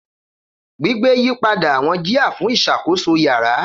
Gbigbe yipada awọn jia fun iṣakoso iyara.